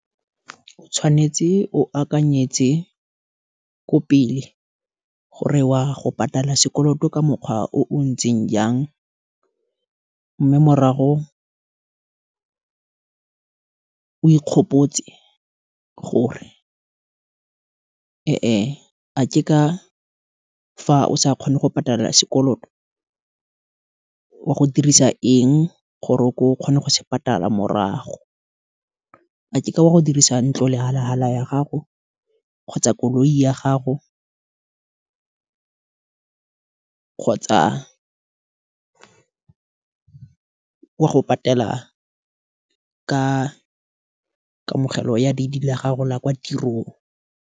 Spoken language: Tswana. O tshwanetse o akanyetse, ko pele, gore wa go patala sekoloto ka mokgwa o o ntseng jang, mme morago o ikgopetse gore, e e, a ke ka fa o sa kgone go patala sekoloto, wa go dirisa eng, gore o kgone go se patala morago, a ke ka wa go dirisa ntlo lehalahala ya gago, kgotsa koloi ya gago, kgotsa wa go patela ka kamogelo ya ledi la gago la kwa tirong.